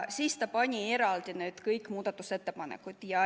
Siis ta pani eraldi hääletusele kõik muudatusettepanekud.